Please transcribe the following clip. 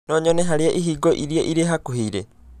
no nyone harĩa ihingo ĩrĩa ĩrĩ hakuhĩ ĩrĩ